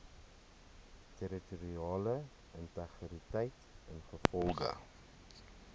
territoriale integriteit ingevolge